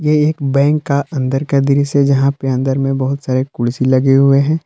ये एक बैंक का अंदर का दृश्य है यहां पे अंदर में बहुत सारे कुर्सी लगे हुए हैं।